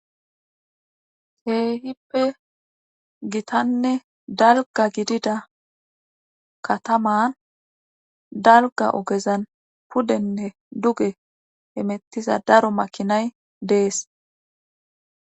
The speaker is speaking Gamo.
he hippe gitanne dalga gidida kataman dalga ogezan pudenne duge hemettiza daro makinay dees